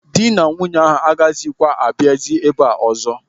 Ndị na nwunye ahụ agaghịkwa abịazi ebe ụzọ?